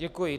Děkuji.